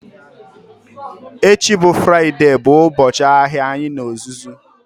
Echi bụ Fraịde bụ ụbọchị ahịa anyị n'ozuzu